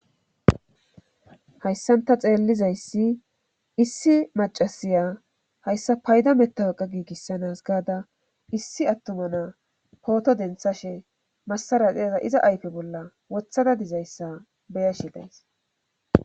hayssan ta xeellizayssi issi macasiya hayssa payda mettawaqa giigissanas gaada issi attuma na pooto denthashe massara xeeza iza ayfe bolla wothada dizayssa beyashe days